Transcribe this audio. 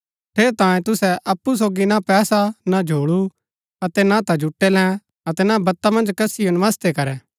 ठेरैतांये तुसै अप्पु सोगी ना पैसा ना झोल्ळू अतै ना ता जुटै लैं अतै ना ता वता मन्ज कसिओ नमस्ते करै